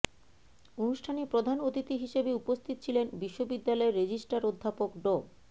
অনুষ্ঠানে প্রধান অতিথি হিসেবে উপস্থিত ছিলেন বিশ্ববিদ্যালয়ের রেজিস্ট্রার অধ্যাপক ড